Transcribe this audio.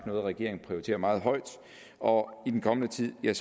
noget regeringen prioriterer meget højt og i den kommende tid vil